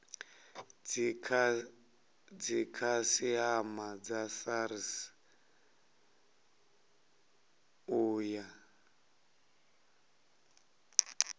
dzikhasiama dza srsa u ya